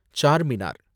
Charminar